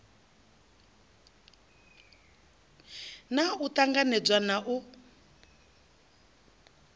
naa u ṱanganedzwa na u